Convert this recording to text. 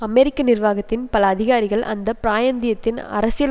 அமெரிக்க நிர்வாகத்தின் பல அதிகாரிகள் அந்த பிராயந்தியத்தின் அரசியல்